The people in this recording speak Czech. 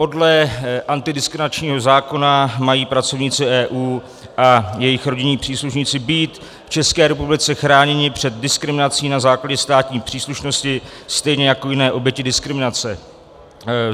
Podle antidiskriminačního zákona mají pracovníci EU a jejich rodinní příslušníci být v České republice chráněni před diskriminací na základě státní příslušnosti stejně jako jiné oběti diskriminace.